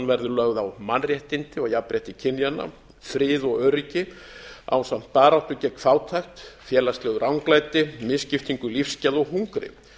verði lögð á mannréttindi og jafnrétti kynjanna frið og öryggi ásamt baráttu gegn fátækt félagslegu ranglæti misskiptingu lífsgæða og hungri